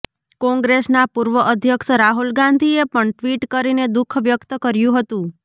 કોંગ્રેસના પુર્વ અધ્યક્ષ રાહુલ ગાંધીએ પણ ટ્વીટ કરીને દુખ વ્યક્ત કર્યું હતું